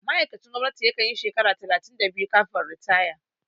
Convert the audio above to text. Ma'aikacin gwamnati ya kanyi shekara talatin da biyu kafin ritaya